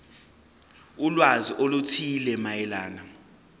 ulwazi oluthile mayelana